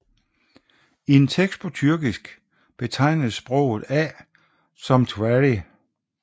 I en tekst på tyrkisk betegnes sproget A som twqry